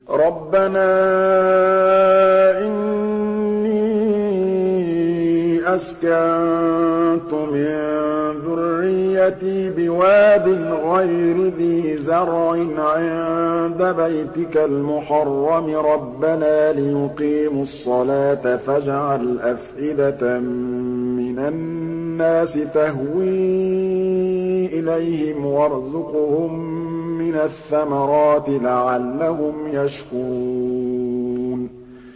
رَّبَّنَا إِنِّي أَسْكَنتُ مِن ذُرِّيَّتِي بِوَادٍ غَيْرِ ذِي زَرْعٍ عِندَ بَيْتِكَ الْمُحَرَّمِ رَبَّنَا لِيُقِيمُوا الصَّلَاةَ فَاجْعَلْ أَفْئِدَةً مِّنَ النَّاسِ تَهْوِي إِلَيْهِمْ وَارْزُقْهُم مِّنَ الثَّمَرَاتِ لَعَلَّهُمْ يَشْكُرُونَ